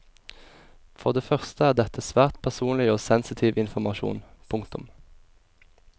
For det første er dette svært personlig og sensitiv informasjon. punktum